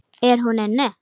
Er hún inni?